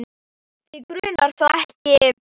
Þig grunar þó ekki?